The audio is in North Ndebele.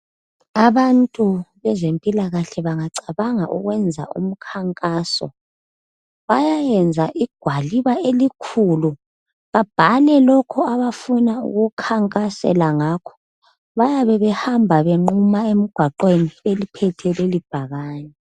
Abantu bezempilakahle bengacabanga ukwenza umkhankaso bayenza igwaliba elikhulu babhale lokho abafuna ukukhankasela ngakho bayabe behamba benquma emgwaqweni beliphethe lelibhakane.